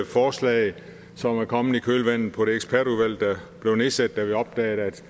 forslag som er kommet i kølvandet på det ekspertudvalg der blev nedsat da vi opdagede at